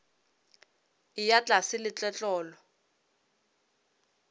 a eya tlase le tletlolo